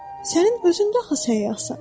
Sənin özün də axı səyyahsan.